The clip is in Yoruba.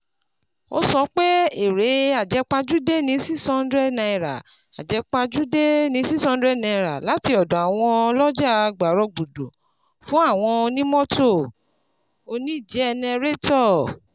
Ó sọ pé èrè àjẹpajúdé ní N six hundred àjẹpajúdé ní N six hundred lati ọ̀dọ̀ àwọn ọlọ́jà gbàrọgbùdù fún àwọn onímọ́tò/oníjẹnẹrétọ̀.